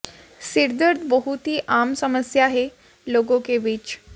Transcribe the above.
सिर दर्द बहुत ही आम समस्या है लोगों के बीच